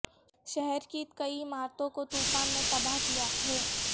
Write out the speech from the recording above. شہر کی کئی عمارتوں کو طوفان نے تباہ کیاہے